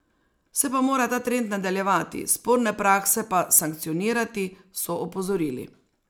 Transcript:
Se pa mora ta trend nadaljevati, sporne prakse pa sankcionirati, so opozorili.